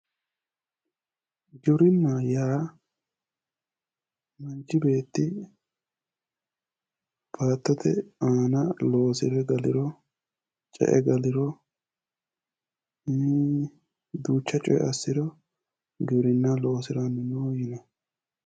Giwirinnaho yaa manchi beetti baattote aana loosire galiro, ce"e galiro, duucha coyi assiro giwirinna loosirannoho yinanni.